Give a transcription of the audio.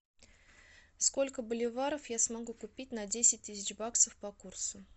сколько боливаров я смогу купить на десять тысяч баксов по курсу